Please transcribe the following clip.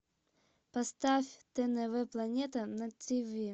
поставь тнв планета на ти ви